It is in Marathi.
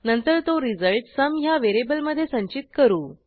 नंतर तो रिझल्ट सुम ह्या व्हेरिएबलमधे संचित करू